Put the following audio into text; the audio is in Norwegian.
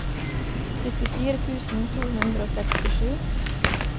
syttifire tusen to hundre og sekstisju